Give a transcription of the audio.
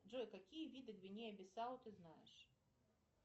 джой какие виды гвинеи бисау ты знаешь